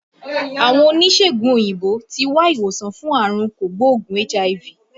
Àwọn oníṣègùn òyìnbó tí wá ìwòsàn fún àrùn kò gbóògùn HIV